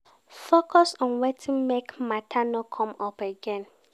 Focus on wetin make matter no come up again